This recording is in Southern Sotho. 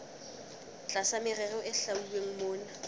tlasa merero e hlwauweng mona